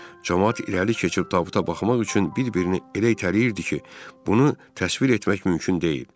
Camaat irəli keçib tabuta baxmaq üçün bir-birini elə itələyirdi ki, bunu təsvir etmək mümkün deyil.